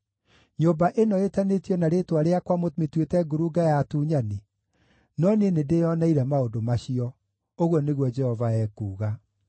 Nyũmba ĩno ĩtanĩtio na Rĩĩtwa rĩakwa mũmĩtuĩte ngurunga ya atunyani? No niĩ nĩndĩĩoneire maũndũ macio! Ũguo nĩguo Jehova ekuuga.